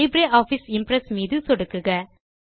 LibreOffice Impress கீற்று மீது சொடுக்குக